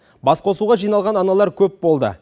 басқосуға жиналған аналар көп болды